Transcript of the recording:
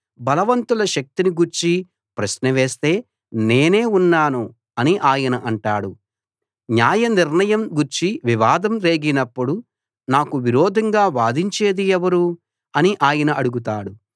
బలవంతుల శక్తిని గూర్చి ప్రశ్న వస్తే నేనే ఉన్నాను అని ఆయన అంటాడు న్యాయ నిర్ణయం గూర్చి వివాదం రేగినప్పుడు నాకు విరోధంగా వాదించేది ఎవరు అని ఆయన అడుగుతాడు